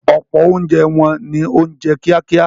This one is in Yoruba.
Ọ̀pọ̀ oúnjẹ wọn ni oúnjẹ kíákíá.